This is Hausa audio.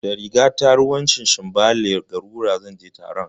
Da rigata ruwan shanshanbale (garura) zan je taron